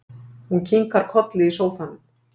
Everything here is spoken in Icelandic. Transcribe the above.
Hún kinkar kolli í sófanum.